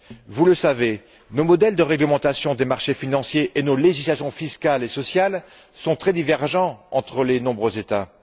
Vous le savez, nos modèles de réglementation des marchés financiers et nos législations fiscales et sociales sont très divergents entre les nombreux États.